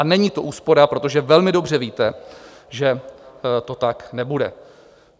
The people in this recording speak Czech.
A není to úspora, protože velmi dobře víte, že to tak nebude.